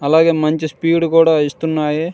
అలాగే మంచి స్పీడ్ కూడా ఇస్తునాయి.